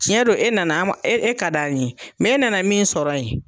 ciɲɛ don e nana an ma e ka d'an ye mɛ e nana min sɔrɔ yen